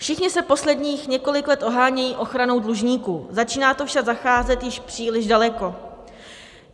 Všichni se posledních několik let ohánějí ochranou dlužníků, začíná to však zacházet již příliš daleko.